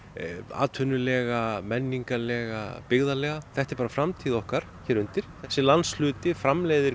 atvinnulega menningarlega byggðarlega þetta er bara framtíð okkar hér undir þessi landshluti framleiðir